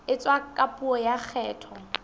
etswa ka puo ya kgetho